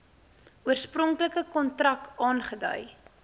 oorspronklike kontrak aangedui